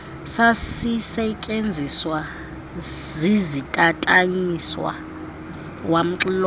sasisetyenziswa zizitatanyiswa wamxilonga